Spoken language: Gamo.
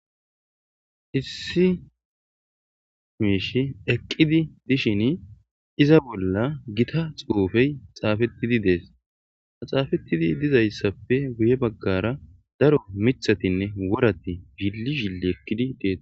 issi mishi eqqidi dishin iza bolla gita xufey xaafettidi dees, xaafettidi dizayssappe guye baggara daro mithatinne worati zhili zhili eqqidi detes.